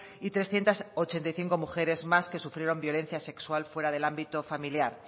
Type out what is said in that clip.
y trescientos ochenta y cinco mujeres que sufrieron violencia sexual fuera del ámbito familiar